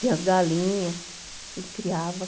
Tinha as galinhas que a gente criava.